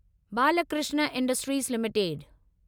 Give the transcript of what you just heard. Balkrishna industries limited